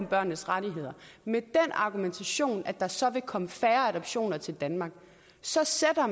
børnenes rettigheder med den argumentation at der så vil komme færre adoptioner til danmark så sætter